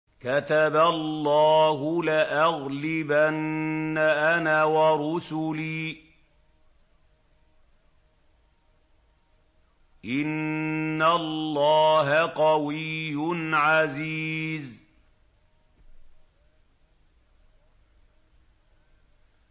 كَتَبَ اللَّهُ لَأَغْلِبَنَّ أَنَا وَرُسُلِي ۚ إِنَّ اللَّهَ قَوِيٌّ عَزِيزٌ